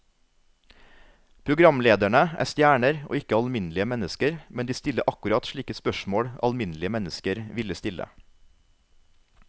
Programlederne er stjerner og ikke alminnelige mennesker, men de stiller akkurat slike spørsmål alminnelige mennesker ville stille.